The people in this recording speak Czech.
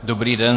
Dobrý den.